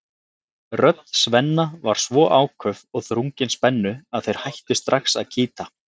Rödd Svenna var svo áköf og þrungin spennu að þeir hættu strax að kýta.